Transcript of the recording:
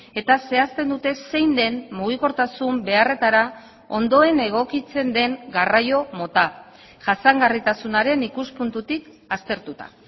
eta zehazten dute zein den mugikortasun beharretara ondoen egokitzen den garraio mota jasangarritasunaren ikuspuntutik aztertuta